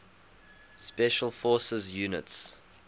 special forces units